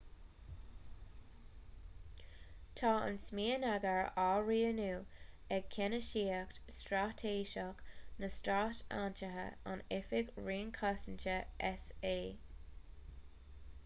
tá an smionagar á rianú ag ceannasaíocht straitéiseach na stát aontaithe in oifig roinn cosanta s.a